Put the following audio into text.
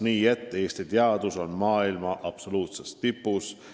Nii et – Eesti teadus on maailma absoluutses tipus.